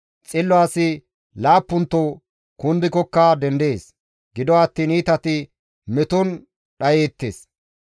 Xillo asi laappunto kundikokka dendees; gido attiin iitati meton dhayeettes.